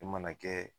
E mana kɛ